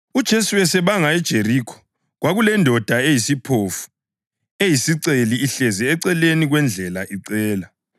UJesu esebanga eJerikho kwakulendoda eyisiphofu eyisiceli ihlezi eceleni kwendlela icela.